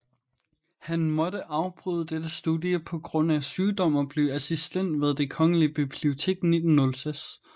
Han måtte afbryde dette studie på grund af sygdom og blev assistent ved det Kongelige Bibliotek 1906